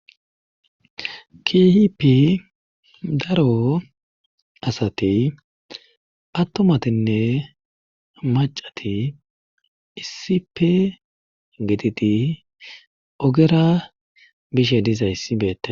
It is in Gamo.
kihipi daro asati attomatinne macati issipe gititi ogera bishe dizayssi beette